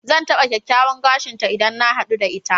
Zan taɓa kyakkyawan gashin ta idan na haɗu da ita.